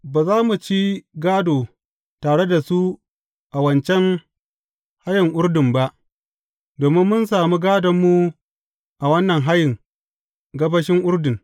Ba za mu ci gādo tare da su a wancan hayin Urdun ba, domin mun sami gādonmu a wannan hayin gabashin Urdun.